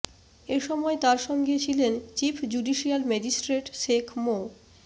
এ সময় তার সঙ্গে ছিলেন চিফ জুডিশিয়াল ম্যাজিস্ট্রেট শেখ মো